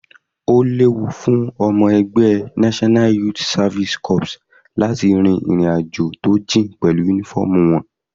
Ó léwu fún ọmọ ẹgbẹ́ NYSC láti rin ìrìn àjò tó jìn pẹ̀lú uniform wọn.